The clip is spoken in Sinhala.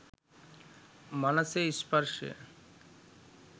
මනසේ ස්පර්ශය